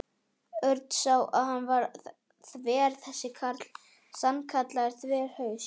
Örn sá að hann var þver þessi karl, sannkallaður þverhaus.